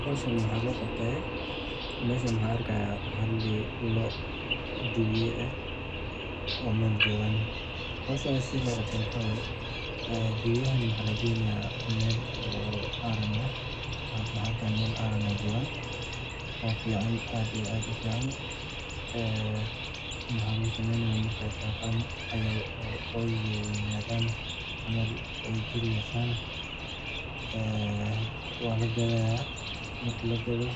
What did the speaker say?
Howshan waxaa loo qabte meeshan waxaan arki haaya loo dibiya ah oo meel joogan waxaa lageyni meel aaran ah waxa lagu sameyni marki aay weynadan waa lagadaaya marki lagado